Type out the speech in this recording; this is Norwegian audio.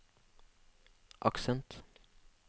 aksent